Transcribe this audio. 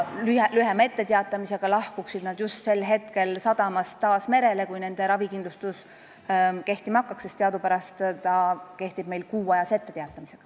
Lühema etteteatamise korral lahkuksid nad sadamast taas merele just sel hetkel, kui nende ravikindlustus kehtima hakkaks, sest teadupärast kehtib see meil kuuajase etteteatamisega.